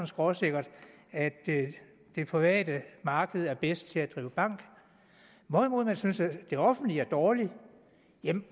skråsikkert at det private marked er bedst til at drive bank hvorimod man synes at det offentlige er dårligt